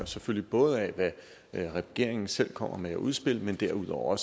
selvfølgelig både af hvad regeringen selv kommer med af udspil men derudover